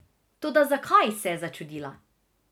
Toda zakaj, se je začudila.